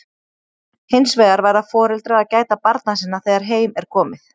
Hins vegar verða foreldrar að gæta barna sinna þegar heim er komið.